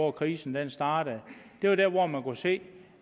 at krisen startede det var der hvor man kunne se